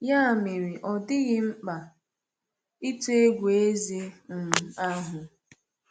Ya mere, ọ dịghị mkpa ịtụ egwu eze um ahụ.